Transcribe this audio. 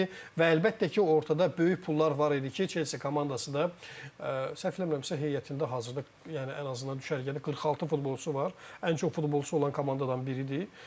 Və əlbəttə ki, ortada böyük pullar var idi ki, Chelsea komandası da, səhv eləmirəmsə, heyətində hazırda yəni ən azından düşərgədə 46 futbolçusu var, ən çox futbolçusu olan komandadan biridir.